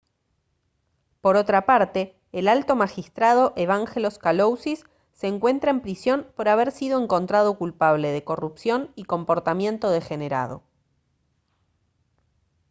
por otra parte el alto magistrado evangelos kalousis se encuentra en prisión por haber sido encontrado culpable de corrupción y comportamiento degenerado